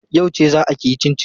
Yauce zaa kiyi cincin?